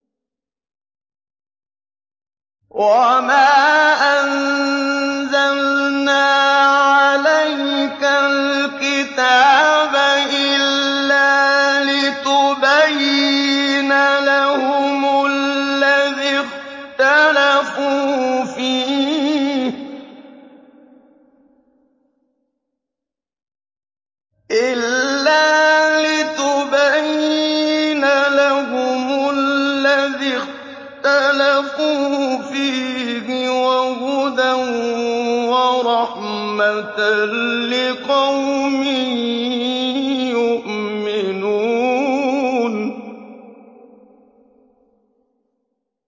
وَمَا أَنزَلْنَا عَلَيْكَ الْكِتَابَ إِلَّا لِتُبَيِّنَ لَهُمُ الَّذِي اخْتَلَفُوا فِيهِ ۙ وَهُدًى وَرَحْمَةً لِّقَوْمٍ يُؤْمِنُونَ